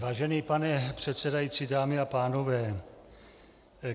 Vážený pane předsedající, dámy a pánové.